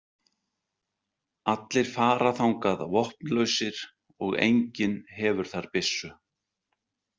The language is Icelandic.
Allir fara þangað vopnlausir og enginn hefur þar byssu.